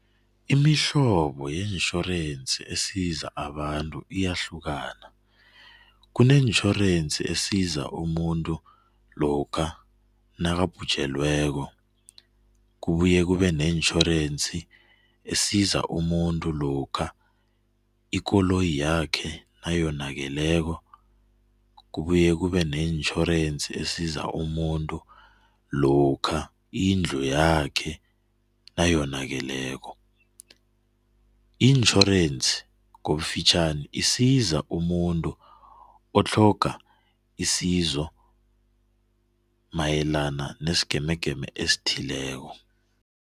Imihlobo yetjhorensi esiza abantu iyahlukana. Kunetjhorensi esiza umuntu lokha nakabhujelweko, kubuye kube netjhorensi esiza umuntu lokha ikoloyi yakhe nayonakeleko, kubuye kube netjhorensi esiza umuntu lokha indlu yakhe nayonakeleko. Itjhorensi ngokufitjhani, isiza umutu otlhoga isizo mayelana nesigemegeme esithileko.